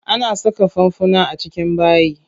Ana saka fanfuna a cikin bayi.